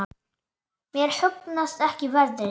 Mér hugnast ekki veðrið.